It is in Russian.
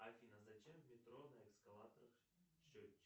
афина зачем в метро на эскалаторах счетчики